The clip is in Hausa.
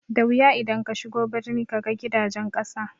Da wuya idan kashigo birni kaga gidajen ƙasa